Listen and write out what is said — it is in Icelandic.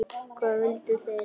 Hvað vildu þeir?